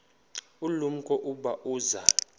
ulumko ukuba uza